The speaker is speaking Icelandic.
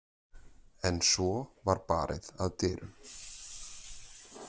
En svo var barið að dyrum.